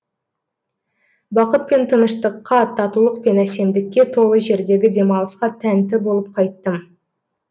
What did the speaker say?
бақыт пен тыныштыққа татулық пен әсемдікке толы жердегі демалысқа тәнті болып қайттым